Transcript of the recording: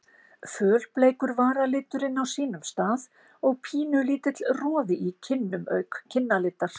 Fölbleikur varaliturinn á sínum stað og pínulítill roði í kinnum auk kinnalitar.